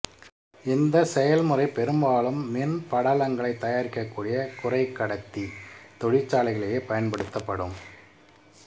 இந்த செயல்முறை பெரும்பாலும் மென் படலங்களைத் தயாரிக்கக்கூடியக் குறைக்கடத்தி தொழிற்சாலைகளிலேயே பயன்படுத்தப்படும்